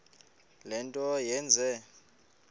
le nto yenze